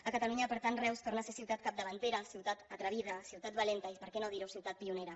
a catalunya per tant reus torna a ser ciutat capdavantera ciutat atrevida ciutat valenta i per què no dir ho ciutat pionera